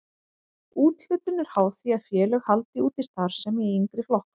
Úthlutun er háð því að félög haldi úti starfsemi í yngri flokkum.